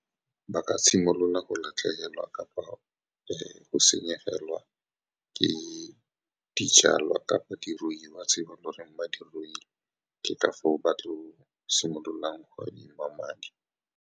Ba ka simolola go latlhegelwa kapa go senyegelwa ke dijalwa kapa diruiwa tse ba neng ba di ruile, ke ka foo ba tla simololang go adima madi.